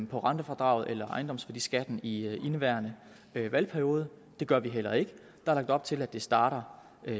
på rentefradraget eller ejendomsværdiskatten i indeværende valgperiode og det gør vi heller ikke der er lagt op til at det starter